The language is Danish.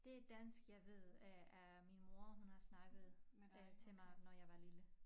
Det dansk jeg ved er er min mor hun har snakket øh til mig når jeg var lille